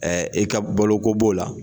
e ka baloko b'o la